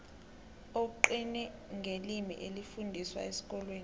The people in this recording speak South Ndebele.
kugcine ngelimi elifundiswa esikolweni